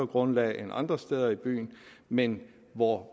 grundlag end andre steder i byen men hvor